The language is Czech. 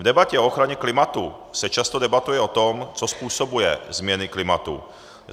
V debatě o ochraně klimatu se často debatuje o tom, co způsobuje změny klimatu.